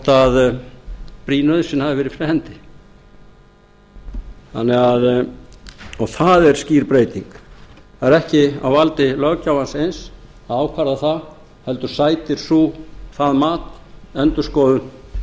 það hvort brýn nauðsyn hafi verið fyrir hendi og það er skýr breyting það er ekki á valdi löggjafans eins að ákvarða það heldur sætir það mat endurskoðun dómstóla